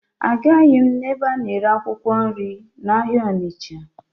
Ahụghị m ebe a na-ere akwụkwọ nri n'ahịa Ọnịcha